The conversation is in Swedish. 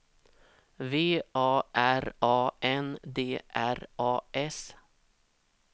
V A R A N D R A S